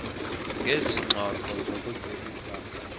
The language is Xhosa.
ngezi ngxoxo zokucebisana